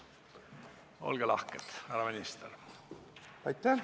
Olge lahke, härra minister!